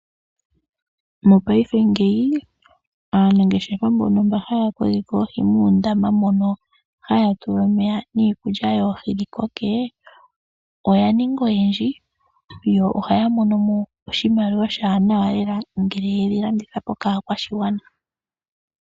Mopaife ngeyi aanangeshefa mba yokeke oohi muundama mono haya tula omeya niikulya yoohi dhikoke, oyaninga oyendji, yo ohaya monomo oshimaliwa shakola lela ngele ya landitha kaakwashigwana.